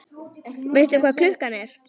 Veistu hvað klukkan er?